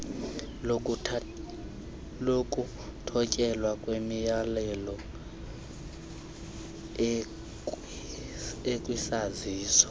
lokuthotyelwa kwemiyalelo ekwisaziso